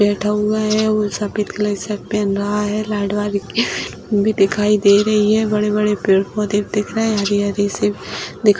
बैठा हुआ है और सफेद कलर का शर्ट पहन रहा है दिखाई दे रही है बड़े बड़े पेड़ पौधे भी दिख रहे हैं हरी-हरी सी दी --